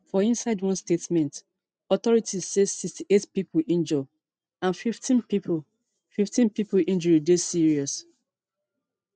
for inside one statement authorities say sixty-eight pipo injure and fifteen pipo fifteen pipo injury dey serious